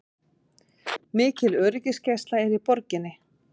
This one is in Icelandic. Mikil öryggisgæsla er í borginni